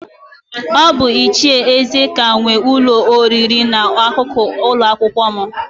Ọ bụ Ichie Ezeka nwe ụlọ oriri nọ n'akụkụ ụlọakwụkwọ m.